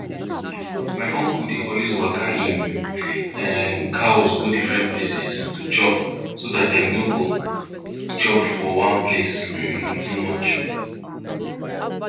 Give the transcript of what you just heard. my uncle dey always waka im um cows go different places to chop so dat dem no dem no dey chop for one place um too much